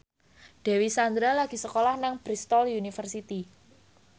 Dewi Sandra lagi sekolah nang Bristol university